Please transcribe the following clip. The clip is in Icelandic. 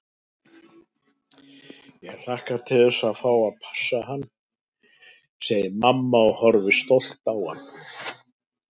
Ég hlakka til að fá að passa hann, segir mamma og horfir stolt á hann.